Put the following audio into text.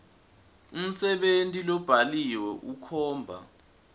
umsebenti lobhaliwe ukhomba